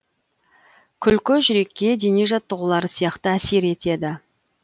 күлкі жүрекке дене жаттығулары сияқты әсер етеді